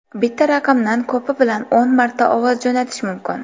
Bitta raqamdan ko‘pi bilan o‘n marta ovoz jo‘natish mumkin.